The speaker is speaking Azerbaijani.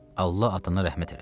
Allah atana rəhmət eləsin.